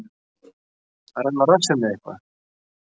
Að renna á rassinn með eitthvað